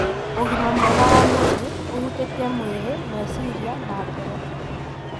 Ũgima mwega wa mwĩrĩ ũhutĩtie mwĩrĩ, meciria, na ngoro.